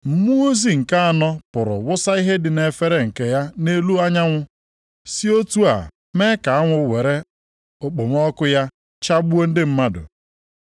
Mmụọ ozi nke anọ pụrụ wụsa ihe dị nʼefere nke ya nʼelu anyanwụ si otu a mee ka anwụ were okpomọkụ ya chagbuo ndị mmadụ.